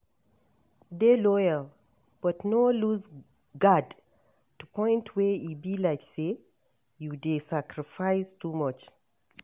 Dey loyal but no loose guard to point wey e go be like sey you dey sacrifice too much